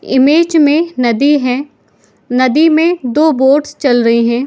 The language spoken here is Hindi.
इमेज में नदी है नदी मे दो बॉट्स चल रहे है ।